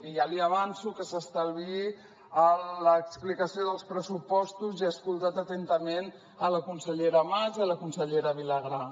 i ja li avanço que s’estalviï l’explicació dels pressupostos ja he escoltat atentament la consellera mas i la consellera vilagrà